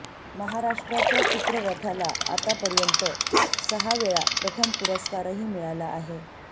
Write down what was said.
महाराष्ट्राच्या चित्ररथाला आतापर्यंत सहा वेळा प्रथम पुरस्कारही मिळाला आहे